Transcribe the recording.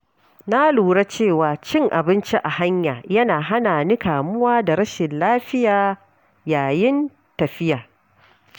Na lura cewa cin abinci a hanya yana hana ni kamuwa da rashin lafiya yayin tafiya.